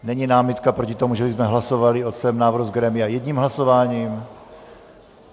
Není námitka proti tomu, že bychom hlasovali o celém návrhu z grémia jedním hlasováním?